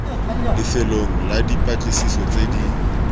lefelong la dipatlisiso tse di